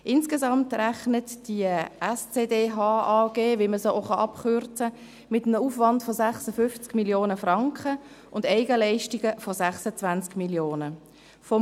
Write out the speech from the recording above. Insgesamt rechnet die SCDH AG, wie man es auch abkürzen kann, mit einem Aufwand von 56 Mio. Franken und Eigenleistungen von 26 Mio. Franken.